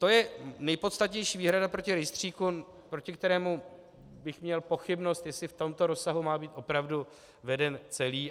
To je nejpodstatnější výhrada proti rejstříku, proti kterému bych měl pochybnost, jestli v tomto rozsahu má být opravdu veden celý.